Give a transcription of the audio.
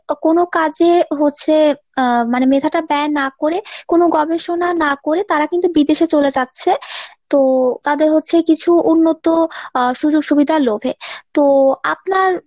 কোনো কাজে হচ্ছে আহ মেধাটা ব্যয় না কোরে কোনো গবেষণা না কোরে তারা কিন্তু বিদেশে চলে যাচ্ছে তো তাদের হচ্ছে কিছু উন্নত আহ সুজুগ সুবিধার লোভে তো আপনার